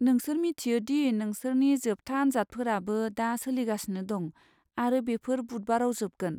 नोंसोर मिन्थियो दि नोंसोरनि जोबथा आनजादफोराबो दा सोलिगासिनो दं आरो बेफोर बुधबाराव जोबगोन।